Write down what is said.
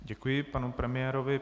Děkuji panu premiérovi.